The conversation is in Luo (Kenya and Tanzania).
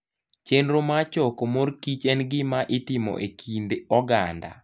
Chenro mar choko morkich en gima itimo e kind oganda.